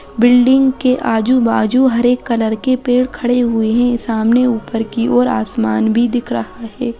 बिल्डिंग के आजू बाजू हरे कलर के पेड़ खड़े हुए है सामने ऊपर की ओर आसमान भी दिख रहा है।